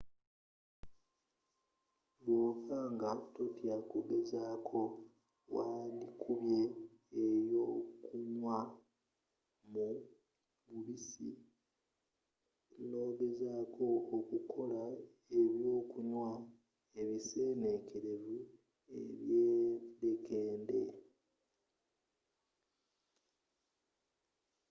bwoba nga totya kugezako wandikubye eyokunywa mu mubisi nogezako okukola ebyokunywa ebisenekerevu ebyedekende